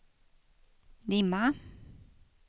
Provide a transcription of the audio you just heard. dimma